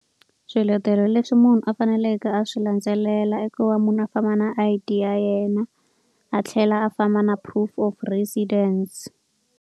Swiletelo leswi munhu a faneleke a swi landzelela i ku va munhu a famba na I_D ya yena, a tlhela a famba na proof of residence.